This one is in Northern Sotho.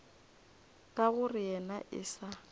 ka gore yena e sa